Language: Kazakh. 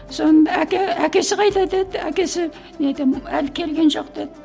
сонын әке әкесі қайда деді әкесі мен айтамын әлі келген жоқ дедім